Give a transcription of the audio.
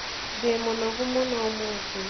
Ndĩmũnogu mũno ũmũthĩ